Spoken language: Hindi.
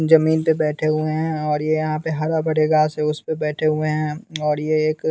जमीन पे बैठे हुए हैं और ये यहाँ पे हरा भड़े गास है उस पे बैठे हुए हैं और ये एक --